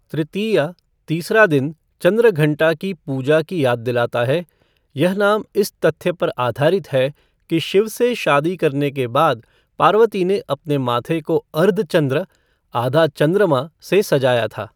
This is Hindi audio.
तृतीया तीसरा दिन चंद्रघंटा की पूजा की याद दिलाता है, यह नाम इस तथ्य पर आधारित है कि शिव से शादी करने के बाद, पार्वती ने अपने माथे को अर्धचंद्र आधा चंद्रमा से सजाया था।